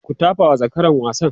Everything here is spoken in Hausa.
ku tafawa zakaran gasan!